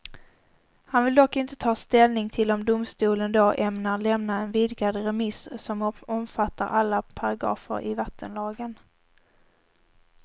Han vill dock inte ta ställning till om domstolen då ämnar lämna en vigdad remiss som omfattar alla paragrafer i vattenlagen.